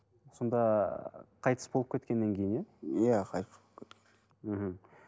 сонда қайтыс болып кеткеннен кейін иә иә қайтыс болып мхм